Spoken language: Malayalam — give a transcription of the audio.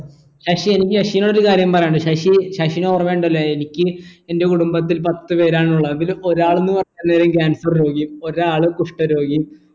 ശശി എനിക്ക് ശശിനോട് ഒരു കാര്യം പറയാനിണ്ട് ശശി ശശിനോർമിണ്ടല്ലോ എനിക്ക് എൻ്റെ കുടുംബത്തിൽ പത്തു പേരാണുള്ളത് അതിൽ ഒരാളെന്നു പറഞ്ഞാലെ cancer രോഗിയും ഒരാൾ കുഷ്ട്ട രോഗിയും